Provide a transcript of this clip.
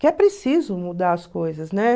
Que é preciso mudar as coisas, né?